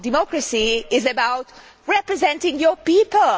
Democracy is about representing your people.